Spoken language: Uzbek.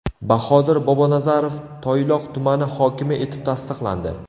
Bahodir Bobonazarov Toyloq tumani hokimi etib tasdiqlandi.